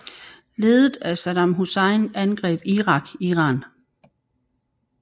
Ledet af Saddam Hussein angreb Irak Iran